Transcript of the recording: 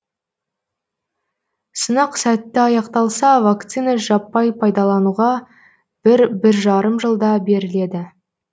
сынақ сәтті аяқталса вакцина жаппай пайдалануға бір бір жарым жылда беріледі